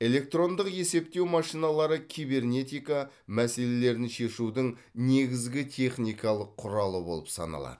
электрондық есептеу машиналары кибернетика мәселедерін шешудің негізгі техникалық құралы болып саналады